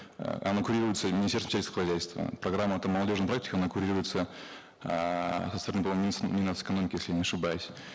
э она курируется министерством сельского хозяйства программа там молодежной практики она курируется эээ со стороны мин нац экономики если я не ошибаюсь